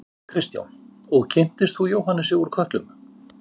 Kristján: Og þú kynntist Jóhannesi úr Kötlum?